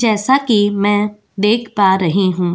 जैसा कि मैं देख पा रही हूँ --